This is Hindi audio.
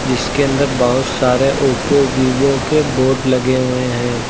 जिसके अंदर बहुत सारे ओप्पो वीवो के बोर्ड लगे हुए हैं।